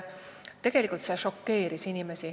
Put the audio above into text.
See šokeeris inimesi.